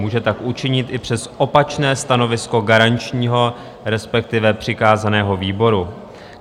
Může tak učinit i přes opačné stanovisko garančního, respektive přikázaného výboru.